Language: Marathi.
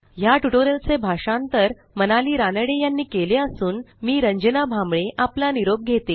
ह्या ट्युटोरियलचे भाषांतर मनाली रानडे यांनी केले असून मी रंजना भांबळे आपला निरोप घेते